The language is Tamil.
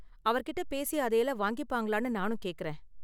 அவர்கிட்ட பேசி அதையெல்லாம் வாங்கிப்பாங்களானு நானும் கேக்கறேன்.